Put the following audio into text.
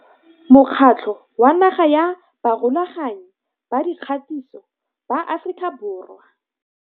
Mokgatlo wa Naga wa Barulaganyi ba Dikgatiso ba Aforika Borwa.